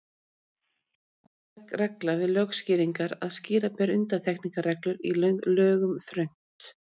Það er alkunn regla við lögskýringar að skýra ber undantekningarreglur í lögum þröngt.